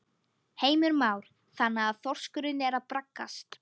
Heimir Már: Þannig að þorskurinn er að braggast?